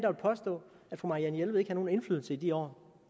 fru marianne jelved ikke havde nogen indflydelse i de år